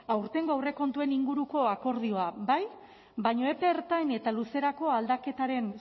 aurtengo aurrekontuen inguruko akordioa bai baina epe ertain eta luzerako aldaketaren